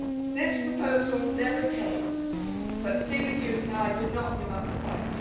This proposal never came, but Stephen Hughes and I did not give up the fight.